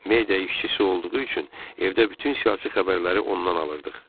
Media işçisi olduğu üçün evdə bütün siyasi xəbərləri ondan alırdıq.